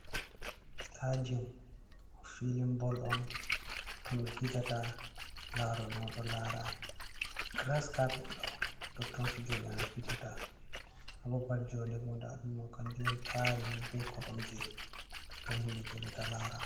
Sitaɗium filin ɓol on totton ɓe fijata. Laroɓe on ɗo lara giras kapet ɗo totton fijoɓe mai fijata. Ha ɓaɓal joɗe ɓo nɗa ɗum ɗo kan jum on tarini ni ɓe koromje, totton himɓe joɗata lara.